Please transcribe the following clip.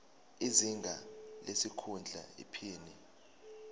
izinga lesikhundla iphini